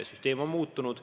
Süsteem on muutunud.